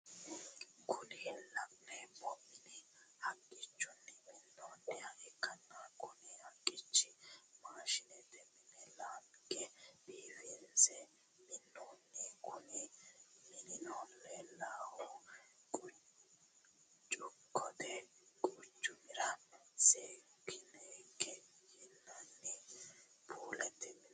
Kuni lanemo mini haqqichuni minoniha ikana kuni haqichino mashshnete mine lanige bifinise minonho kuni minino lelenohu chukote quchumira sekonike yinani pulete mineti.